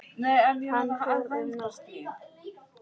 Hann fór um nótt.